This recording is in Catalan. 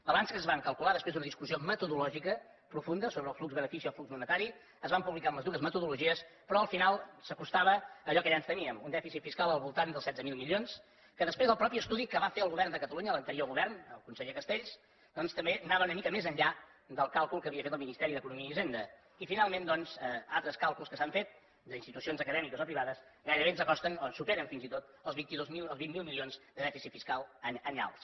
balances que es van calcular després d’una discussió metodològica profunda sobre el flux benefici o flux monetari es van publicar amb les dues metodologies però al final s’acostava a allò que ja ens temíem un dèficit fiscal al voltant dels setze mil milions que després el mateix estudi que va fer el govern de catalunya l’anterior govern el conseller castells doncs també anava una mica més enllà del càlcul que havia fet el ministeri d’economia i hisenda i finalment altres càlculs que s’han fet d’institucions acadèmiques o privades gairebé ens acosten o superen fins i tot els vint miler milions de dèficit fiscal anyals